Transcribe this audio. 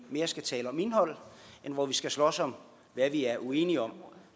skal tale om indhold end hvor vi skal slås om hvad vi er uenige om